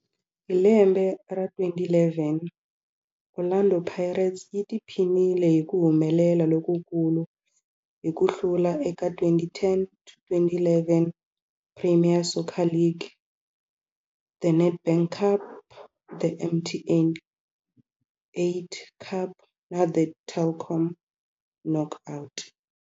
Hi lembe ra 2011, Orlando Pirates yi tiphinile hi ku humelela lokukulu hi ku hlula eka 2010 to11 Premier Soccer League, The Nedbank Cup, The MTN 8 Cup na The Telkom Knockout.